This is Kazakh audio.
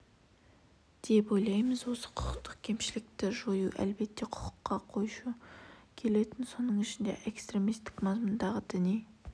деп ойлаймыз осы құқықтық кемшілікті жою әлбетте құқыққа қайшы келетін соның ішінде экстремистік мазмұндағы діни